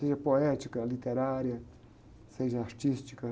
Seja poética, literária, seja artística.